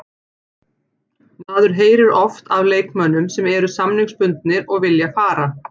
Maður heyrir oft af leikmönnum sem eru samningsbundnir og vilja fara.